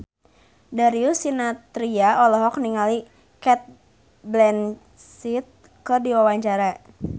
Darius Sinathrya olohok ningali Cate Blanchett keur diwawancara